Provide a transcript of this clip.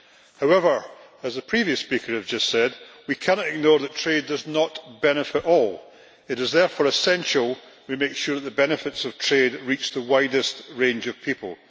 However, as a previous speaker has just said, we cannot ignore that trade does not benefit all. It is therefore essential we make sure the benefits of trade reach the widest range of people.